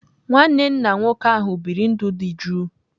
Nwanne nna nwoke ahụ biri ndụ dị jụụ.